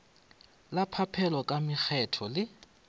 la phaphelo ka makgetho le